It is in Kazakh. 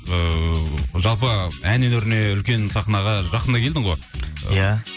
ыыы жалпы ән өнеріне үлкен сахнаға жақында келдің ғой иә